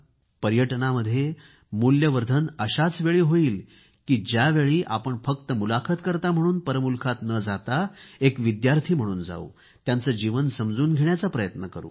पर्यटनामध्ये मूल्यवर्धन अशाचवेळी होईल की ज्यावेळी आपण फक्त मुलाखतकर्ता म्हणून परमुलुखात न जाता एक विद्यार्थी म्हणून जावू आणि त्यांचे जीवन समजून घेण्याचा प्रयत्न करू